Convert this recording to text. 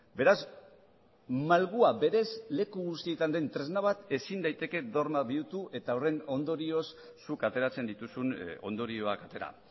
beraz malgua berez leku guztietan den tresna bat ezin daiteke dogma bihurtu eta horren ondorioz zuk ateratzen dituzun ondorioak atera